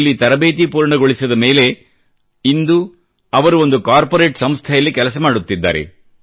ಇಲ್ಲಿ ತರಬೇತಿ ಪೂರ್ಣಗೊಳಿಸಿದ ಮೇಲೆ ಇಂದು ಅವರು ಒಂದು ಕಾರ್ಪೋರೇಟ್ ಸಂಸ್ಥೆಯಲ್ಲಿ ಕೆಲಸ ಮಾಡುತ್ತಿದ್ದಾರೆ